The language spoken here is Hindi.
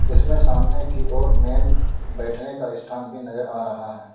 इसमें सामने की और मेन बैठने का स्थान भी नजर आ रहा है।